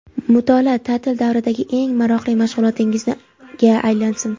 Mutolaa ta’til davridagi eng maroqli mashg‘ulotingizga aylansin.